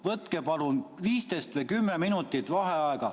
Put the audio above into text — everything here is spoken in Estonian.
Võtke palun 15 või 10 minutit vaheaega.